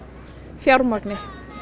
fjármagni